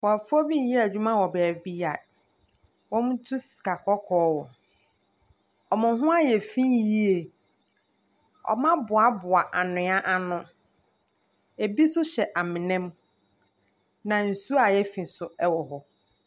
Nkurɔfoɔ bi reyɛ adwuma wɔ baabi a wɔtu sika kɔkɔɔ wɔ. Wɔn ho ayɛ fi yie. Wɔaboaboa anwea ano. Ɛbi nso hyɛ amena mu, na nsuo a ayɛ fi nso wɔ hɔ.